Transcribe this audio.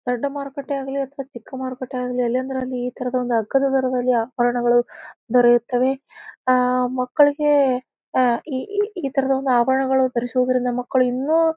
ದೊಡ್ಡ ಮರುಕಟ್ಟೆಯಾಗಲಿ ಅಥವಾ ಚಿಕ್ಕ ಮರುಕಟ್ಟೆಯಲ್ಲಾಗಲಿ ಎಲ್ಲಿ ಅಂದರಲ್ಲಿ ಇಲ್ಲಿ ಈಥರದ ಒಂದು ಅಗ್ಗದ ದರದಲ್ಲಿ ಆಭರಣಗಳು ದೊರೆಯುತ್ತವೆ. ಆ ಮಕ್ಕಳಿಗೆ ಅಹ್ ಈ ಈ ತರಹದ ಒಂದು ಆಭರಣಗಳು ಧರಿಸುವುದರಿಂದ ಮಕ್ಕಳು ಇನ್ನು--